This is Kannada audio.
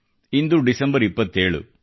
ಇಂದು ಡಿಸೆಂಬರ್ 27